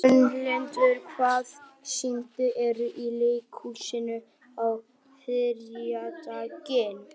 Gunnhildur, hvaða sýningar eru í leikhúsinu á þriðjudaginn?